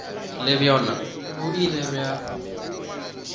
le bjona bo ile bja